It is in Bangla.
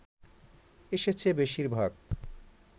এসেছে বেশিরভাগ